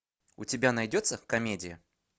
у тебя найдется комедия